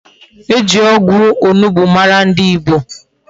E ji ogwu onugbu mara ndi Igbo